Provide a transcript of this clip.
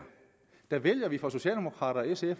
der vælger vi fra socialdemokraternes og